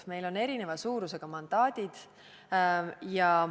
Meil on erineva suurusega mandaadid.